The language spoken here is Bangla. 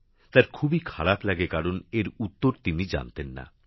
তার খুবই খারাপ লাগে কারণ এর উত্তর তিনি জানতেন না